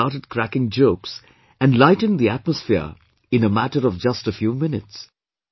He started cracking jokes and lightened the atmosphere in a matter of just a few minutes